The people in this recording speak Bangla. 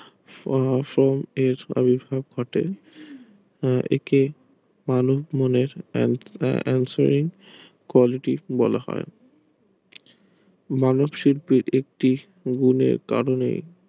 একে quality বলা হয় মানব শিল্পের একটি সুযোগের কারণে